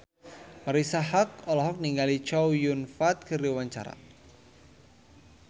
Marisa Haque olohok ningali Chow Yun Fat keur diwawancara